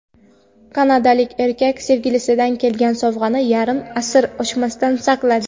Kanadalik erkak sevgilisidan kelgan sovg‘ani yarim asr ochmasdan saqladi.